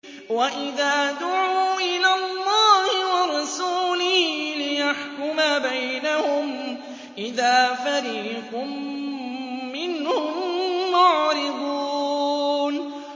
وَإِذَا دُعُوا إِلَى اللَّهِ وَرَسُولِهِ لِيَحْكُمَ بَيْنَهُمْ إِذَا فَرِيقٌ مِّنْهُم مُّعْرِضُونَ